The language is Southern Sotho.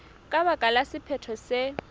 ka baka la sephetho se